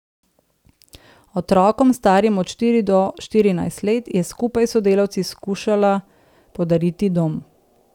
Otrokom, starim od štiri do štirinajst let, je skupaj s sodelavci skušala podariti dom.